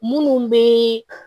Munnu be